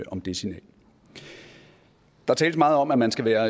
om det signal der tales meget om at man skal være